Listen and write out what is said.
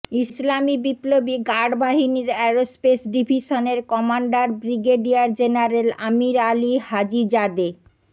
ইসলামি বিপ্লবী গার্ড বাহিনীর অ্যারোস্পেস ডিভিশনের commander brigadier general Amir Ali Hajizadeh